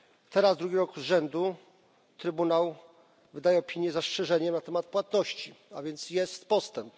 Teraz drugi rok z rzędu Trybunał wydaje opinię z zastrzeżeniem na temat płatności, a więc jest postęp.